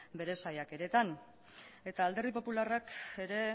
bere saiakeretan eta alderdi popularrak ere